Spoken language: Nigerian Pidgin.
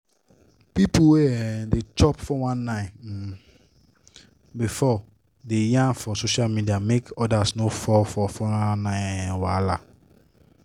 people wey um don chop 419 um before dey yarn for social media make others no fall for 419 um wahala